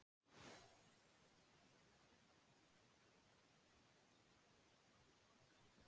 Ég hélt áfram að vona að Fisksjúkdómanefnd léti fljótlega af tregðu sinni.